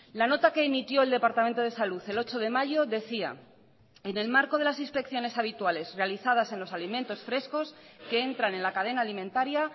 la nota que emitió el departamento de salud el ocho de mayo decía en el marco de las inspecciones habituales realizadas en los alimentos frescos que entran en la cadena alimentaria